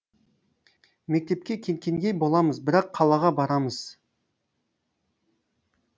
мектепке кеткендей боламыз бірақ қалаға барамыз